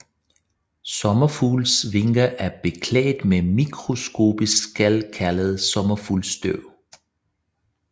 Sommerfugles vinger er beklædt med mikroskopiske skæl kaldet sommerfuglestøv